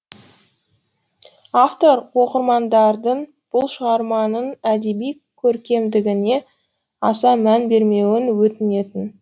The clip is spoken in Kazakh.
автор оқырмандардың бұл шығарманың әдеби көркемдігіне аса мән бермеуін өтінемін